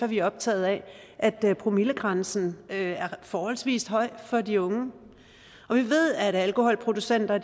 vi optaget af at promillegrænsen er forholdsvis høj for de unge og vi ved at alkoholproducenter